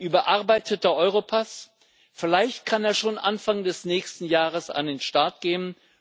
Ein überarbeiteter Europass vielleicht kann er schon Anfang des nächsten Jahres an den Start gehen.